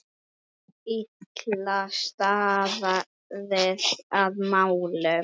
Illa staðið að málum.